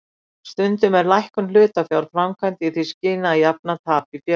Stundum er lækkun hlutafjár framkvæmd í því skyni að jafna tap í félaginu.